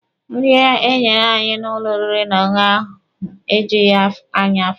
Nri enyere anyị n'ụlọ oriri n'ọṅụṅụ ahụ ejughi anyị afọ.